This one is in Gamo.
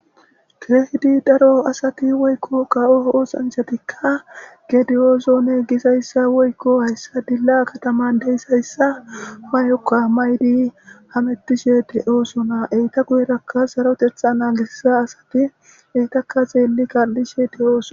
keehidi daro asati woykko ka7o oosanchatikka gediyoosone gisayssa woykko hayssa dilla kataman deyssayssa mayokka may7di hamettishe de7oosona eyta guyerakka sarotetha naagissa asati eytaka xeelli gal7ishe de oosona